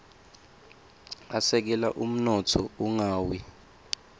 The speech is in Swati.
asekela umnotfo ungawia